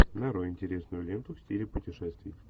нарой интересную ленту в стиле путешествий